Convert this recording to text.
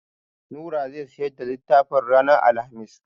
Nura zai siyar da littafin ranar Alhamis.